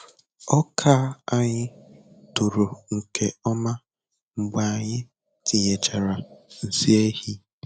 Ọka anyị toro nke ọma mgbe anyị tinyechara nsị ehi.